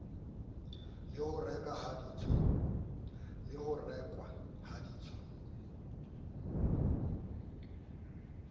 le ho rekwa ha ditswa